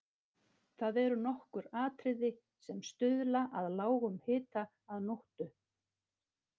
Það eru nokkur atriði sem stuðla að lágum hita að nóttu.